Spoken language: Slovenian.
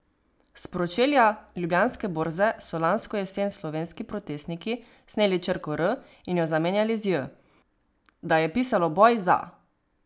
S pročelja ljubljanske borze so lansko jesen slovenski protestniki sneli črko R in jo zamenjali z J, da je pisalo Boj za.